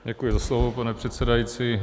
Děkuji za slovo, pane předsedající.